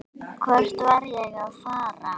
Hvert var ég að fara?